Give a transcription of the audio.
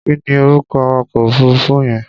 Kí ni orúkọ awakọ̀ òfuruufú yẹn?